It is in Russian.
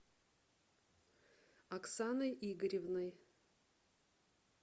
оксаной игоревной